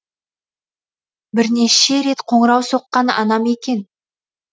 бірнеше рет қоңырау соққан анам екен